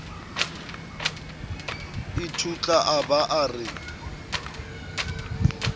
ithutla a ba a re